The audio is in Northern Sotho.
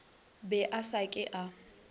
be a sa ke a